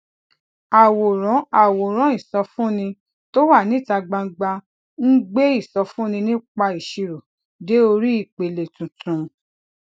àwòrán àwòrán ìsọfúnni tó wà níta gbangba ń gbé ìsọfúnni nípa ìṣirò dé orí ìpele tuntun